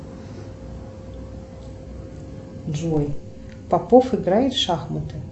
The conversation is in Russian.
джой попов играет в шахматы